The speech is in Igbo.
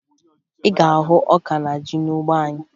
Ị ga-ahụ ọka na ji n'ugbo anyị